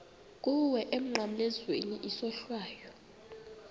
kuwe emnqamlezweni isohlwayo